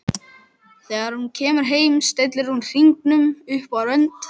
Þegar hún kemur heim stillir hún hringnum upp á rönd.